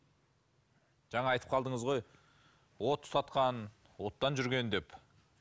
жаңа айтып қалдыңыз ғой от тұтатқан оттан жүрген деп